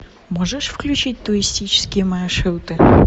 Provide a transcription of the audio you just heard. можешь включить туристические маршруты